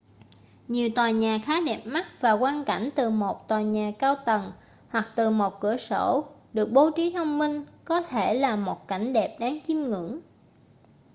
nhiều tòa nhà khá đẹp mắt và quang cảnh từ một tòa nhà cao tầng hoặc từ một cửa sổ được bố trí thông minh có thể là một cảnh đẹp đáng chiêm ngưỡng